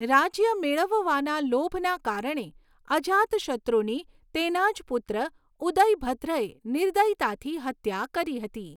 રાજ્ય મેળવવાના લોભના કારણે અજાતશત્રુની તેના જ પુત્ર ઉદયભદ્રએ નિર્દયતાથી હત્યા કરી હતી.